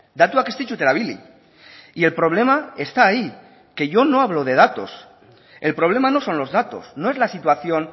datuak ez ditut erabili y el problema está ahí que yo no hablo de datos el problema no son los datos no es la situación